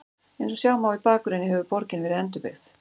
Eins og sjá má í bakgrunni hefur borgin verið endurbyggð.